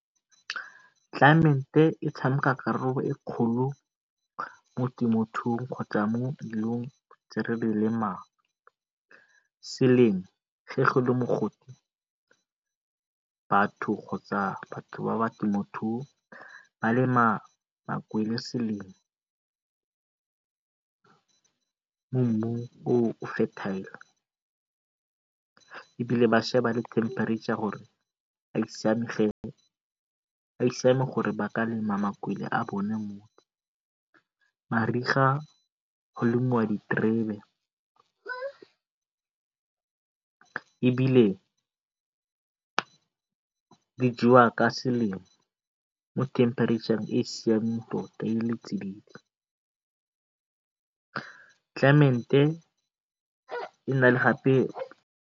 Tlelaemete e tshameka karolo e kgolo mo temothuong kgotsa mo leruong tse re di lemang. Selemo batho kgotsa batho ba ba temothuo ba lema makwele e le selemo, e bile ba le temperature gore a e siame gore ba ka lema makwele a bone mo. Mariga go lemiwa diterebe ebile di jewa ka selemo mo temperature-ng e e siameng tota e na gape